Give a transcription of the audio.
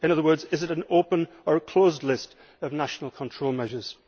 In other words, is it an open or a closed list of national control measures?